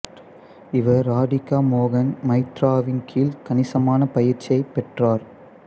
இவர் ராதிகா மோகன் மைத்ராவின் கீழ் கணிசமான பயிற்சியைப் பெற்றார்